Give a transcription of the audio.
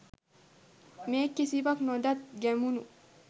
මේ කිසිවක් නොදත් ගැමුණු